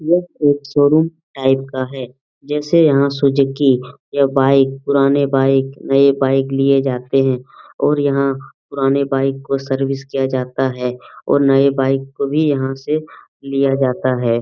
यह एक showroom type का है जैसे यहाँ सुजुकी या बाइक पुराने बाइक नये बाइक लिए जाते है। और यहाँ पुराने बाइक को सर्विस किया जाता है और नये बाइक को भी यहाँ से लिया जाता है।